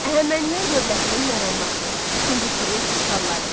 Əhəmənilər dövlətinin yaranması, ikinci Kirin işğalları.